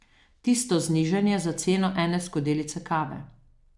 Tisto znižanje za ceno ene skodelice kave.